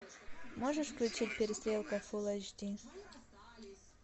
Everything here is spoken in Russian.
можешь включить перестрелка фул эйч ди